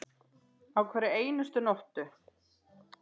Á hverri einustu nóttu.